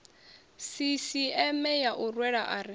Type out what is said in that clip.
sisieme ya u rwela ari